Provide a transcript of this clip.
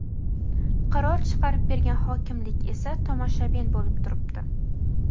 qaror chiqarib bergan hokimlik esa tomoshabin bo‘lib turibdi.